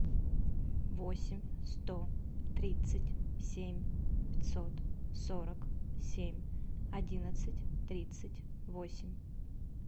восемь сто тридцать семь пятьсот сорок семь одиннадцать тридцать восемь